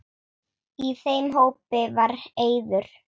Í þeim hópi var Eiður.